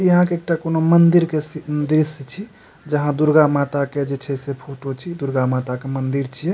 इहा के टेक्नो मंदिर के सी दृश्य छी जहा दुर्गा माता के जे फोटो छी दुर्गा माता की मंदिर छिए।